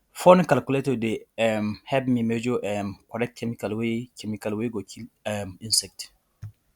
phone calculator dey um help me measure um correct chemical wey chemical wey go kill um insect